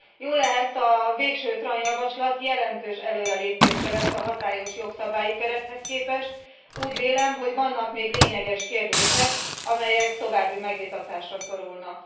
Jóllehet a végső TRAN javaslat jelentős előrelépést jelent a hatályos jogszabályi kerethez képest, úgy vélem, hogy vannak még lényeges kérdések, amelyek további megvitatásra szorulnak.